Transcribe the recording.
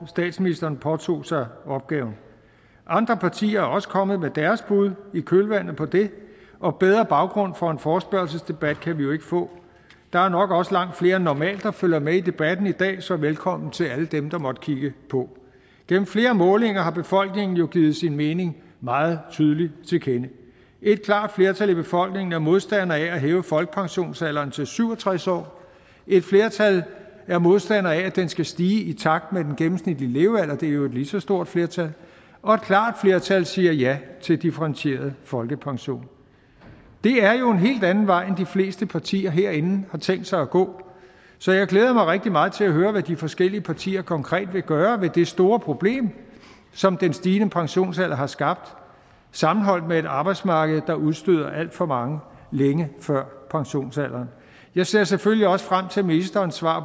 statsministeren påtog sig opgaven andre partier er også kommet med deres bud i kølvandet på det og bedre baggrund for en forespørgselsdebat kan vi jo ikke få der er nok også langt flere end normalt der følger med i debatten i dag så velkommen til alle dem der måtte kigge på gennem flere målinger har befolkningen jo givet sin mening meget tydeligt til kende et klart flertal i befolkningen er modstander af at hæve folkepensionsalderen til syv og tres år et flertal er modstandere af at den skal stige i takt med den gennemsnitlige levealder det er jo et lige så stort flertal og et klart flertal siger ja til differentieret folkepension det er jo helt anden vej end fleste partier herinde har tænkt sig at gå så jeg glæder mig rigtig meget til at høre hvad de forskellige partier konkret vil gøre ved det store problem som den stigende pensionsalder har skabt sammenholdt med et arbejdsmarked der udstøder alt for mange længe før pensionsalderen jeg ser selvfølgelig også frem til ministerens svar